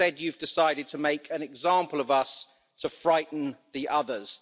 Instead, you have decided to make an example of us to frighten the others.